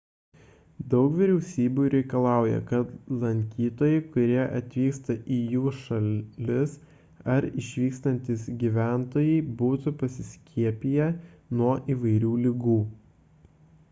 daug vyriausybių reikalauja kad lankytojai kurie atvyksta į jų šalis ar išvykstantys gyventojai būtų pasiskiepiję nuo įvairių ligų